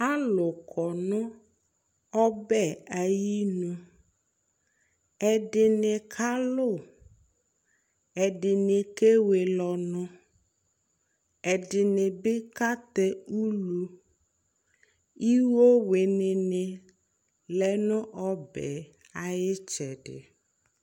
alò kɔ no ɔbɛ ayinu ɛdini kalu ɛdini kewele ɔnu ɛdini bi ka tɛ ulu iwo wini ni lɛ no ɔbɛ yɛ ayi itsɛdi